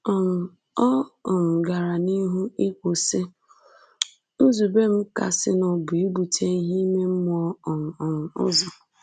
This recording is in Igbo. um Ọ um gara n’ihu ikwu, sị: “Nzube m kasịnụ bụ ibute ihe ime mmụọ um um ụzọ.